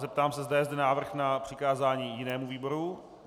Zeptám se, zda je zde návrh na přikázání jinému výboru.